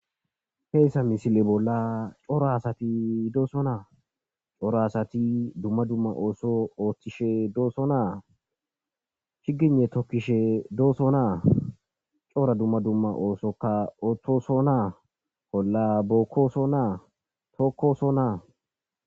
Hayssa misile bolla cora asati doosona; cora asati dumma dumma ootho oothishe doosona, chigyne tokkishe doosona, cora dumma dumma ooso oothosona, olla bookkosona, tookkosona.